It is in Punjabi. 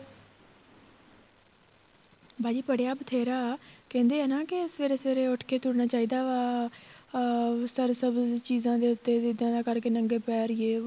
ਬਾਜੀ ਪੜਿਆ ਬਥੇਰਾ ਕਹਿੰਦੇ ਆ ਨਾ ਕੇ ਸਵੇਰੇ ਸਵੇਰੇ ਉੱਠ ਕੇ ਤੁਰਨਾ ਚਾਹੀਦਾ ਵਾ ਅਹ ਚੀਜ਼ਾਂ ਦੇ ਉੱਤੇ ਜਿਹਦਾ ਕਰਕੇ ਨੰਗੇ ਪੈਰ ਜ਼ੇ ਵੋ